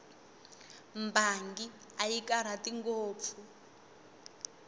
mbangi a yi karhati ngopfu